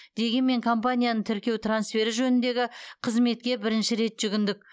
дегенмен компанияны тіркеу трансфері жөніндегі қызметке бірінші рет жүгіндік